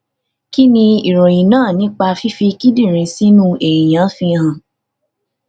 kí ni ìròyìn náà nípa fífi kíndìnrín sínú èèyàn fihan